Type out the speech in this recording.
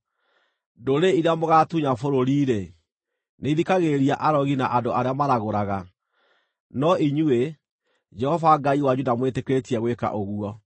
Ndũrĩrĩ iria mũgaatunya bũrũri-rĩ, nĩithikagĩrĩria arogi na andũ arĩa maragũraga. No inyuĩ, Jehova Ngai wanyu ndamwĩtĩkĩrĩtie gwĩka ũguo.